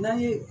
N'an ye